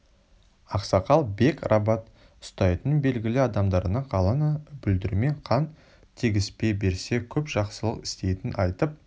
ақсақал бек рабат ұстайтын белгілі адамдарына қаланы бүлдірмей қан төгіспей берсе көп жақсылық істейтінін айтып